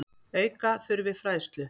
Auka þurfi fræðslu.